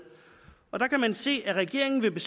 og der kan man se at regeringen vil